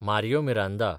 Mario Miranda